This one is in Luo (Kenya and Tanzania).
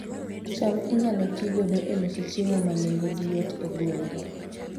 cham inyalo ti godo e loso chiemo ma nengogi yot e gwenge